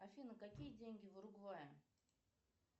афина какие деньги в уругвае